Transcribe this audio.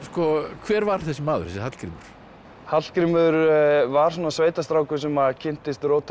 hver var þessi maður þessi Hallgrímur Hallgrímur var svona sveitastrákur sem kynntist róttækni